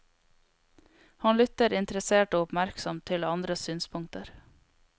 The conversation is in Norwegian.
Han lytter interessert og oppmerksomt til andres synspunkter.